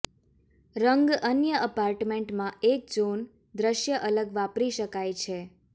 રંગ અન્ય એપાર્ટમેન્ટમાં એક ઝોન દ્રશ્ય અલગ વાપરી શકાય છે